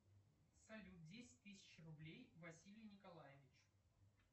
салют десять тысяч рублей василию николаевичу